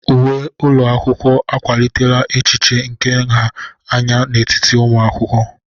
Uwe ụlọ akwụkwọ akwalitela echiche nke nha anya n'etiti ụmụ akwụkwọ.